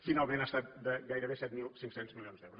finalment ha estat de gairebé set mil cinc cents milions d’euros